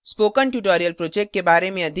spoken tutorial project के बारे में अधिक जानने के लिए